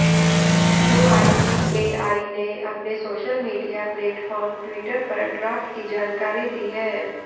UIDAI ने अपने social media platform Twitter पर ड्राफ्ट की जानकारी दी है